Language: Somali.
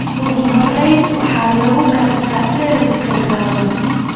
Ugu horrayn waxa lagu gartaa dherer gaaban.